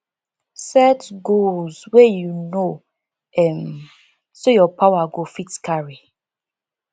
set goals wey you know um sey your power go fit carry